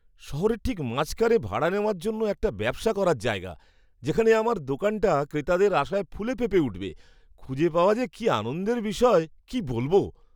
শহরের ঠিক মাঝখানে ভাড়া নেওয়ার জন্য একটা ব্যবসা করার জায়গা, যেখানে আমার দোকানটা ক্রেতাদের আসায় ফুলে ফেঁপে উঠবে, খুঁজে পাওয়া যে কী আনন্দের বিষয় কি বলব।